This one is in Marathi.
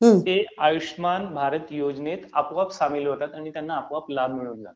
ते आयुष्यमान भारत योजनेत आपोआप सामील होतात आणि त्यांना आपोआप लाभ मिळून जातो.